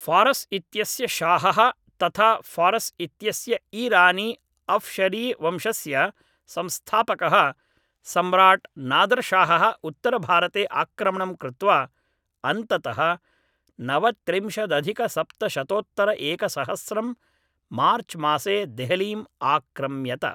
फारस् इत्यस्य शाहः तथा फारस् इत्यस्य ईरानी अफशरीवंशस्य संस्थापकः सम्राट् नादरशाहः उत्तरभारते आक्रमणं कृत्वा अन्ततः नवत्रिंशदधिकसप्तशतोत्तरएकसहस्रं मार्च्मासे देहलीम् आक्रम्यत